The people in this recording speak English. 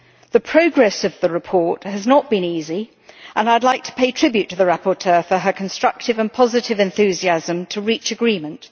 The progress of the report has not been easy, and I would like to pay tribute to the rapporteur for her constructive and positive enthusiasm to reach agreement.